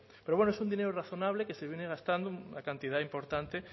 pero bueno es un dinero razonable que se viene gastando una cantidad importante